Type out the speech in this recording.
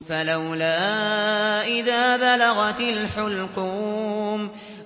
فَلَوْلَا إِذَا بَلَغَتِ الْحُلْقُومَ